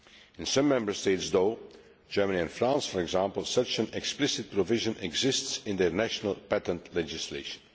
In some Member States though Germany and France for example such an explicit provision exists in national patent legislation.